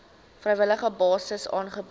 vrywillige basis aangebied